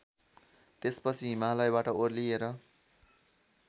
त्यसपछि हिमालयबाट ओर्लिएर